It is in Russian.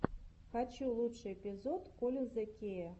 хочу лучший эпизод коллинза кея